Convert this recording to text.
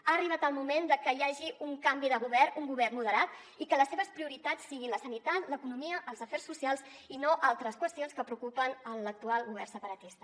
ha arribat el moment que hi hagi un canvi de govern un govern moderat i que les seves prioritats siguin la sanitat l’economia els afers socials i no altres qüestions que preocupen l’actual govern separatista